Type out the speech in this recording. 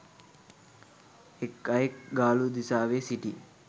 එක් අයෙක් ගාලු දිසාවේ සිටි